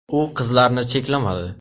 U qizlarni cheklamadi.